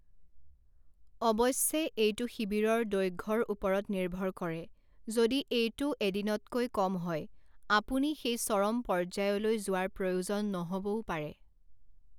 অৱশ্যে, এইটো শিবিৰৰ দৈৰ্ঘ্যৰ ওপৰত নিৰ্ভৰ কৰে; যদি এইটো এদিনতকৈ কম হয়, আপুনি সেই চৰম পৰ্যায়লৈ যোৱাৰ প্ৰয়োজন নহ'বও পাৰে।